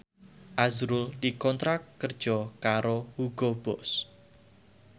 azrul dikontrak kerja karo Hugo Boss